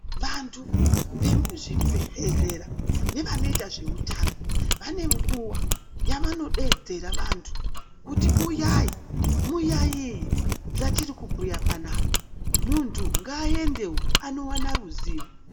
Vantu vemuzvibhehlera nevanoita zveutano vane nguwa yavanodeedzera vantu kuti uyai muyaiye zvatiri kubhuya papanapa, muntu ngaaendewo anowana ruziwo.